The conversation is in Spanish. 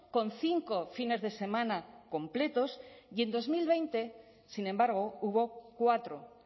con cinco fines de semana completos y en dos mil veinte sin embargo hubo cuatro